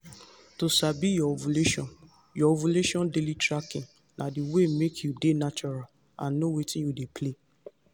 to sabi your ovulation your ovulation daily tracking na the way make you dey natural and know wetin dey play.